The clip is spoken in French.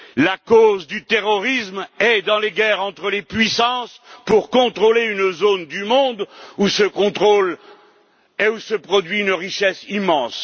La cause du terrorisme se trouve dans les guerres entre les puissances pour contrôler une zone du monde où se contrôle et où se produit une richesse immense.